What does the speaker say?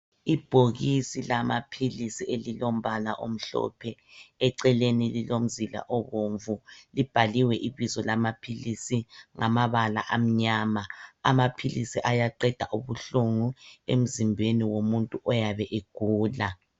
Ibhokisi lamaphilisi elilombala omhlophe, eceleni lilomzila obomvu. Libhaliwe ibizo lamaphilisi ngamabala amnyama. Amaphilisi ayaqeda ubuhlungu emzimbeni womuntu oyabe egula.